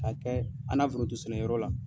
K'a kɛ an na foronto sɛnɛyɔrɔ la.